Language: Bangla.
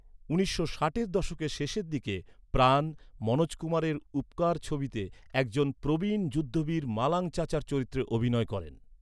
উনিশশো ষাটের দশকের শেষের দিকে প্রাণ, মনোজ কুমারের ‘উপকার’ ছবিতে একজন প্রবীণ যুদ্ধবীর মালাং চাচার চরিত্রে অভিনয় করেন।